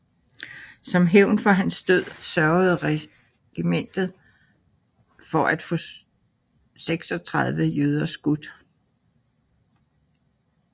Som hævn for hans død sørgede regimentet for at få 36 jøder skudt